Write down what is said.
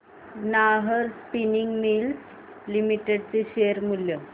Nahar Spinning Mills Limited चे share मूल्य